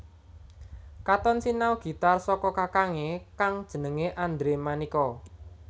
Katon sinau gitar saka kakangné kang jenengé Andre Manika